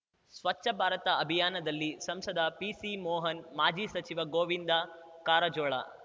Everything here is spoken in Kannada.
ಸ್ವಚ್ಛ ಭಾರತ ಅಭಿಯಾನದಲ್ಲಿ ಸಂಸದ ಪಿಸಿಮೋಹನ್‌ ಮಾಜಿ ಸಚಿವ ಗೋವಿಂದ ಕಾರಜೋಳ